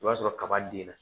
O b'a sɔrɔ kaba denna